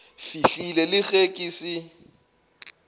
fihlile le ge ke se